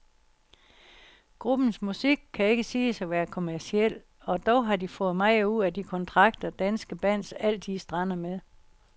Gruppens musik kan ikke siges at være kommerciel, og dog har de fået meget ud af de kontrakter, danske bands altid strander med.